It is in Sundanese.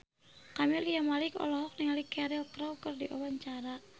Camelia Malik olohok ningali Cheryl Crow keur diwawancara